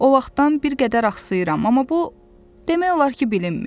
O vaxtdan bir qədər axsayıram, amma bu, demək olar ki, bilinmir.